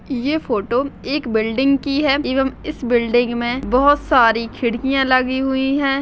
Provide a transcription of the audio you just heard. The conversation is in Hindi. ये फोटो एक बिल्डिंग की है एवं इस बिल्डिंग मे बहोत सारी खिड़किया लगी हुई है।